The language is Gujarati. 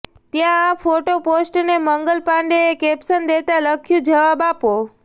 ત્યાં આ ફોટો પોસ્ટને મંગલ પાંડેએ કેપ્શન દેતા લખ્યું જવાબ આપો